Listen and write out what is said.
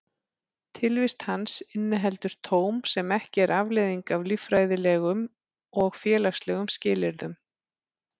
Tilvist hans inniheldur tóm sem ekki er afleiðing af líffræðilegum og félagslegum skilyrðum.